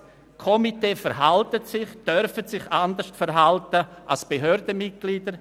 Komitees dürfen sich anders verhalten als Behördenmitglieder.